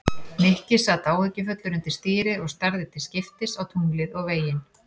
Nikki sat áhyggjufullur undir stýri og starði til skiptist á tunglið og veginn.